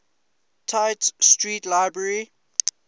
tite street library